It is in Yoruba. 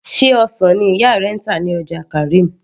sé ọsàn ni ìyá rẹ ń tà ní ọjà karim